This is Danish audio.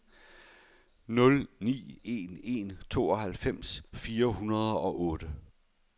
nul ni en en tooghalvfems fire hundrede og otte